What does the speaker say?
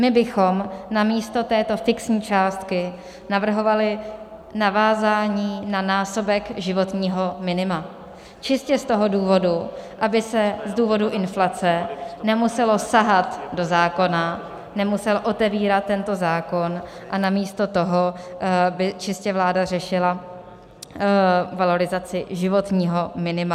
My bychom místo této fixní částky navrhovali navázání na násobek životního minima, čistě z toho důvodu, aby se z důvodu inflace nemuselo sahat do zákona, nemusel otevírat tento zákon a namísto toho by čistě vláda řešila valorizaci životního minima.